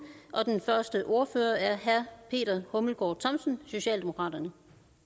og den første ordfører er herre peter hummelgaard thomsen socialdemokraterne